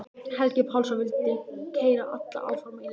Helgi Pálsson vildi keyra alla áfram í listinni.